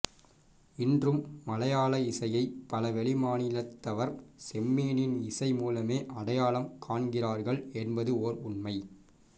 இன்றும் மலையாள இசையை பல வெளி மாநிலத்தவர் செம்மீனின் இசைமூலமே அடையாளம் காண்கிறார்கள் என்பது ஓர் உண்மை